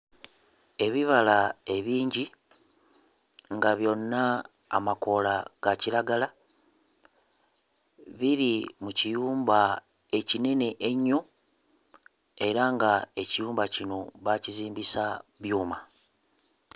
Ebibala ebingi nga byonna amakoola ga kiragala biri mu kiyumba ekinene ennyo era nga ekiyumba kino baakizimbisa byuma.